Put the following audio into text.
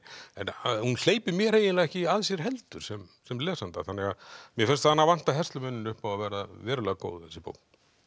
en hún hleypir mér eiginlega ekki að sér heldur sem sem lesanda mér fannst hana vanta herslumuninn upp á að vera verulega góð þessi bók